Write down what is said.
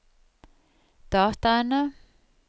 dataene